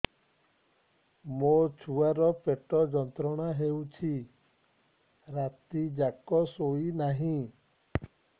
ମୋ ଛୁଆର ପେଟ ଯନ୍ତ୍ରଣା ହେଉଛି ରାତି ଯାକ ଶୋଇନାହିଁ